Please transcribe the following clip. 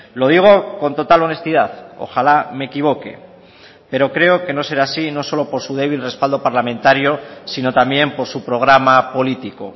lo digo con total honestidad ojalá me equivoque pero creo que no será así no solo por su débil respaldo parlamentario sino también por su programa político